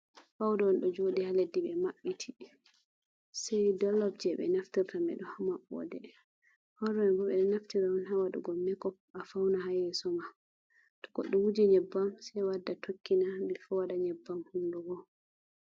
Fawda on ɗo joɗi ha leddi ɓe maɓɓiti, sei dollof je ɓe naftirta me ɗo hamaɓɓode fauda mai bo ɓeɗo naftira on hawadugo mako afauna ha yeso ma, to goɗɗo wuji nyebbam sei wadda tokkina bi fo waɗa nyebbam hunduko.